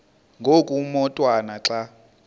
ngoku umotwana xa